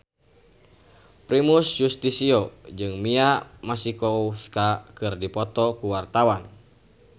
Primus Yustisio jeung Mia Masikowska keur dipoto ku wartawan